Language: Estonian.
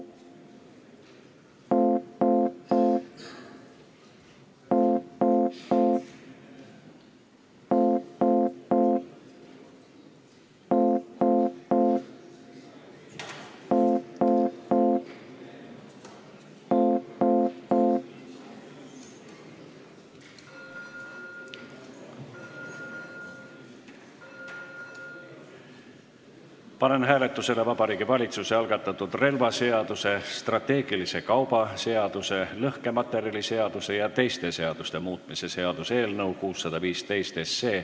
Panen hääletusele Vabariigi Valitsuse algatatud relvaseaduse, strateegilise kauba seaduse, lõhkematerjaliseaduse ja teiste seaduste muutmise seaduse eelnõu 615.